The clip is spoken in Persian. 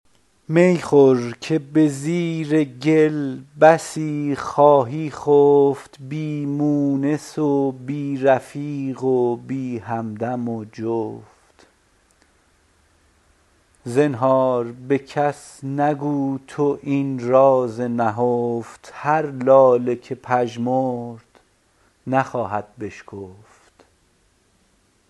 می خور که به زیر گل بسی خواهی خفت بی مونس و بی رفیق و بی همدم و جفت زنهار به کس مگو تو این راز نهفت هر لاله که پژمرد نخواهد بشکفت